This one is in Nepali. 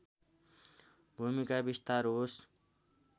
भूमिका विस्तार होस्